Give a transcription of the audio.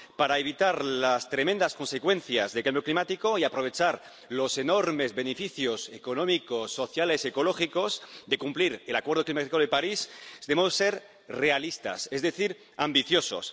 Para evitar las tremendas consecuencias del cambio climático y aprovechar los enormes beneficios económicos, sociales y ecológicos de cumplir el acuerdo climático de París debemos ser realistas, es decir, ambiciosos.